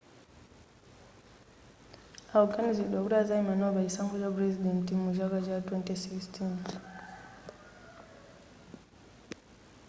akuganiziridwa kuti azayima nawo pa chisankho cha purezidenti mucha chaka cha 2016